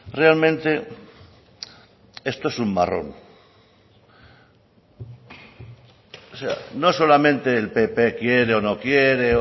realmente esto es un marrón no solamente el pp quiere o no quiere